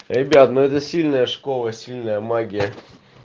ребят но это сильная школа сильная магия